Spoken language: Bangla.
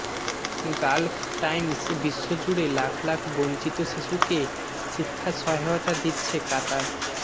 গালফ টাইমসবিশ্বজুড়ে লাখ লাখ বঞ্চিত শিশুকে শিক্ষা সহায়তা দিচ্ছে কাতার